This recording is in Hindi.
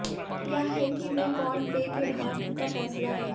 यह है कि वे कौन पेय के भाग्य का फैसला है